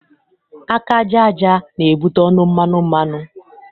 Aka aja aja na-ebute ọnụ mmanụ mmanụ.